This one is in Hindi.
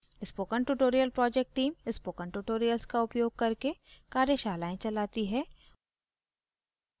spoken tutorial project team spoken tutorials का उपयोग करके कार्यशालाएं चलाती है